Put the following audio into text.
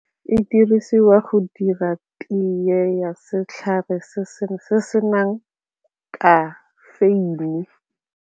E dirisiwa go dira tee ya setlhare se se senang kafeine.